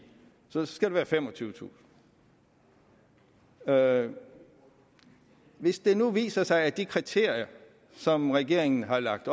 så det skal være femogtyvetusind ha hvis det nu viser sig at de kriterier som regeringen har lagt